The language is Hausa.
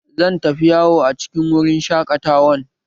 Zan tafi yawo a cikin wurin shaƙatawan